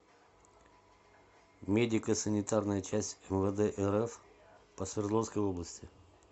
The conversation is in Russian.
медико санитарная часть мвд рф по свердловской области